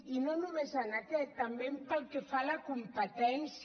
i no només en aquest també pel que fa a la competència